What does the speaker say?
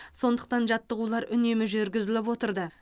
сондықтан жаттығулар үнемі жүргізіліп отырды